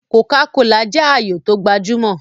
Kòká kolà jẹ́ ààyò tó gbajúmọ̀